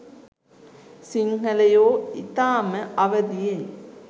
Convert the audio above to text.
සිංහලයෝ ඉතාම අවදියෙන්